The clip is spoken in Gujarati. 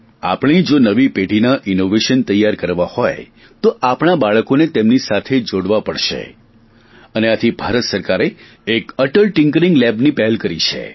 આપણે જો નવી પેઢીના ઇનોવેશન તૈયાર કરવા હોય તો આપણા બાળકોને તેમની સાથે જોડવા પડશે અને આથી ભારત સરકારે એક અટલ ટિંકરિંગ લેબ્સ ની પહેલ કરી છે